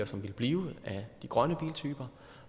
som ville blive af de grønne biltyper